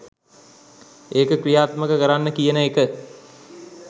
ඒක ක්‍රියාත්මක කරන්න කියන එක